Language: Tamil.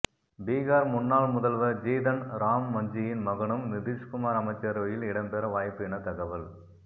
பீகார் முன்னாள் முதல்வர் ஜிதன் ராம் மஞ்சியின் மகனும் நிதிஷ்குமார் அமைச்சரவையில் இடம்பெற வாய்ப்பு என தகவல்